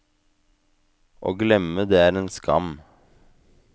Å glemme det er en skam.